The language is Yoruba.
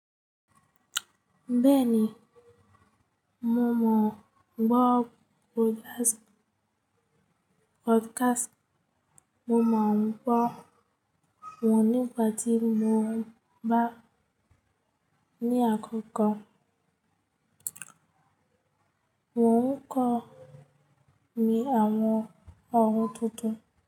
Bẹ́ẹ̀ni, mo mọ̀ n gbọ́ podcast. Mo mọ̀ n gbọ́ wọ́n nígbà tí mo bá ní àkókò. Wọ́n ń kọ mi ní àwọn ohun tuntun.